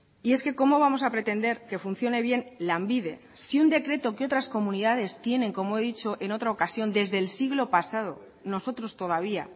y es que cómo vamos a pretender que funcione bien lanbide si un decreto que otras comunidades tienen como he dicho en otra ocasión desde el siglo pasado nosotros todavía